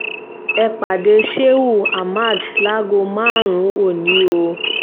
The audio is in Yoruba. ẹ pàdé shehu ahmad láago máríùn-ún ọ̀nì o